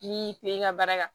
N'i y'i to yen i ka baara kan